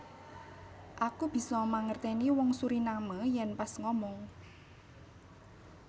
Aku biso mangerteni wong Suriname yen pas ngomong